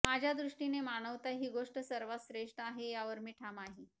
माझ्या दृष्टिने मानवता ही गोष्ट सर्वात श्रेष्ठ आहे यावर मी ठाम आहे